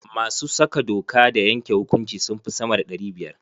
Masu saka doka da yanke hukunci sun fi sama da ɗari biyar.